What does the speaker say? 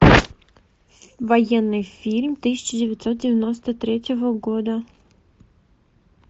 военный фильм тысяча девятьсот девяносто третьего года